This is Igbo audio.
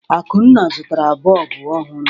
Akunna zụtara bọlbụ ọhụrụ.